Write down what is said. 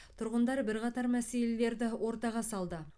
тұрғындар бірқатар мәселелерді ортаға салды